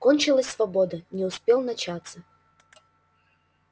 кончилась свобода не успев начаться